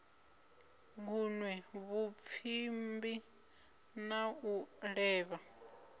gunwe vhupfimbi na u levha